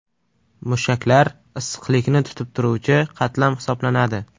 Mushaklar issiqlikni tutib turuvchi qatlam hisoblanadi.